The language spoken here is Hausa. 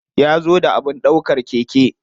Ya zo da abin ɗaukar keke.